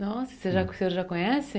Nossa, o senhor já o senhor já conhece?